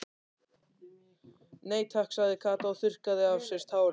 Nei takk sagði Kata og þurrkaði af sér tárin.